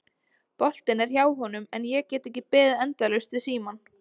Boltinn er hjá honum en ég get ekki beðið endalaust við símann.